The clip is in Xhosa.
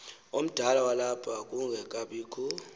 omdala walapha kungekabikho